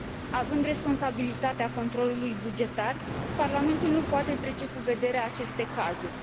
Având responsabilitatea controlului bugetar, Parlamentul nu poate trece cu vederea aceste cazuri.